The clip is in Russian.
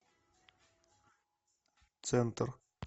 центр